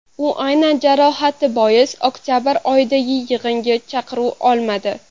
U aynan jarohati bois oktabr oyidagi yig‘inga chaqiruv olmadi.